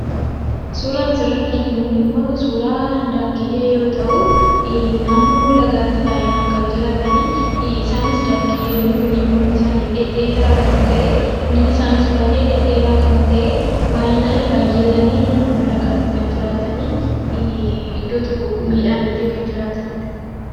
Suuraan asirratti arginu kunimmoo suuraa daakkiyyee yoo ta'u, naannoo lagaatti baay'inaan kan jiraatanii isaanis daakkiyyoonni kun mormi isaanii dhedheeraa kan ta'e, miilli isaaniis baay'ee dhedheeraa kan ta'e, baay'atanii naannoo lagaatti kan jiraatan iddoon tokko gumiidhaanillee kan jiraatanidha.